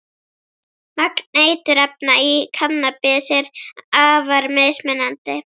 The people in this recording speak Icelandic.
Magn eiturefna í kannabis er afar mismunandi.